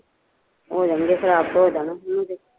ਹੋ ਜਾਣਗੇ ਖਰਾਬ ਤੇ ਹੋ ਜਾਣ